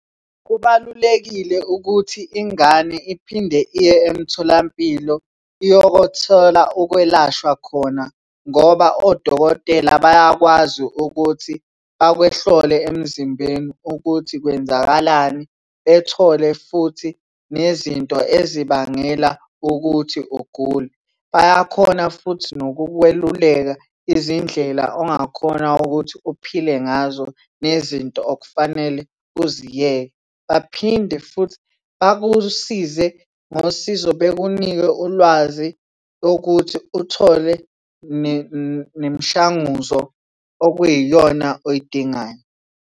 Kubalulekile ukuthi ingane iphinde iye emtholampilo iyokothola ukwelashwa khona ngoba odokotela bayakwazi ukuthi bakwehlole emzimbeni ukuthi kwenzakalani bethole futhi nezinto ezibangela ukuthi ugule. Bayakhona futhi nokukweluleka izindlela ongakhona ukuthi uphile ngazo nezinto okufanele uziyeke. Baphinde futhi bakusize ngosizo bekunike ulwazi ukuthi uthole nemishanguzo okuyiyona oyidingayo.